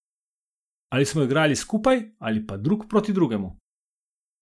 Ali smo igrali skupaj ali pa drug proti drugemu.